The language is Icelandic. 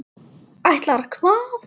Ætlaðir hvað?